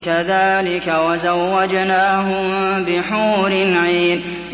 كَذَٰلِكَ وَزَوَّجْنَاهُم بِحُورٍ عِينٍ